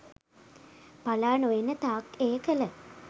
පලා නොයන තාක් එය කළ